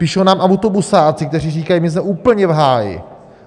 Píšou nám autobusáci, kteří říkají: My jsme úplně v háji!